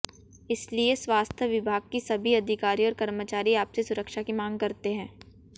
इसलिए स्वास्थ्य विभाग की सभी अधिकारी और कर्मचारी आपसे सुरक्षा की मांग करते हैं